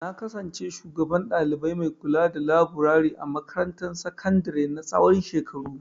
Na kasance shugaban ɗalibai mai kulada laburare a makarantar sakandare na tsawon shekaru.